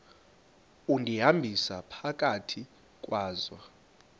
undihambisa phakathi kwazo